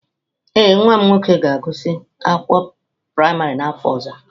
Ee, nwa m nwoke ga-agụsị akwụkwọ praịmarị n'afọ ọzọ.